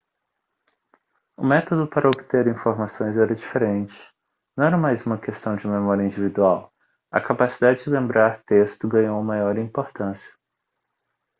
o método para obter informações era diferente não era mais uma questão de memória individual a capacidade de lembrar texto ganhou maior importância